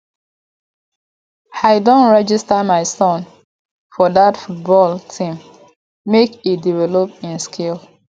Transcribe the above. i don register my son for dat football team make e develop im skill